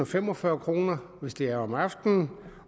fem og fyrre kr hvis det er om aftenen